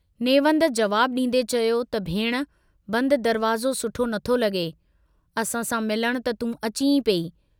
नेवंद जवाबु डींदे चयो त भेण बंद दरवाज़ो सुठो नथो लगे, असां सां मिलण त तूं अची ई पई।